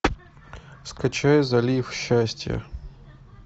скачай залив счастья